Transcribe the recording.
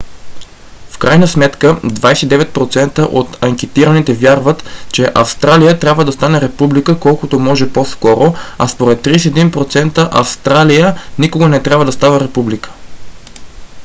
в крайна сметка 29% от анкетираните вярват че австралия трябва да стане република колкото може по-скоро а според 31% австралия никога не трябва да става република